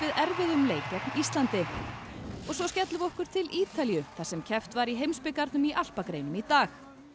erfiðum leik gegn Íslandi og svo skellum við okkur til Ítalíu þar sem keppt var í heimsbikarnum í alpagreinum í dag